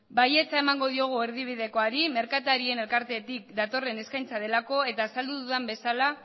baietza emango diogu erdibidekoari merkatarien elkartetik datorren eskaintza delako eta azaldu dudan bezala